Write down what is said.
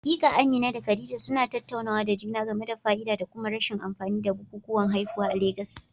Haƙiƙa, Amina da Khadija suna tattaunawa da juna game da fa'ida da kuma rashin amfani da bukukuwan haihuwa a Legas.